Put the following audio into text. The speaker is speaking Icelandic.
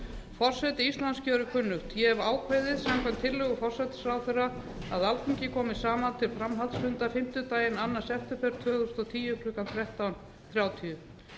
forseti íslands gjörir kunnugt ég hefi ákveðið samkvæmt tillögu forsætisráðherra að alþingi komi saman til framhaldsfunda fimmtudaginn annan september tvö þúsund og tíu klukkan þrettán þrjátíu